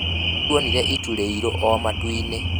Nĩtuonire itu rĩiruũ matu-inĩ